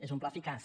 és un pla eficaç